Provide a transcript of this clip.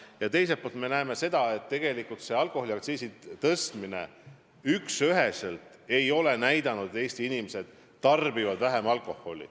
Aga teiselt poolt me näeme seda, et tegelikult alkoholiaktsiisi tõstmine ei ole konkreetselt näidanud, et Eesti inimesed tarbivad vähem alkoholi.